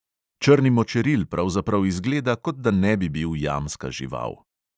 Črni močeril pravzaprav izgleda, kot da ne bi bil jamska žival.